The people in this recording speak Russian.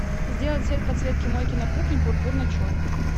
сделать цвет подсветки мойки на кухне пурпурно черный